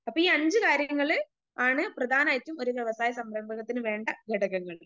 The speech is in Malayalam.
അപ്പൊ ഈ അഞ്ച് കാര്യങ്ങള് ആണ് പ്രധാനായിട്ടും ഒരു വ്യവസായ സംരംഭകത്തിന് വേണ്ട ഘടകങ്ങള്.